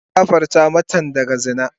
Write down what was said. An gafarta matan daga zina.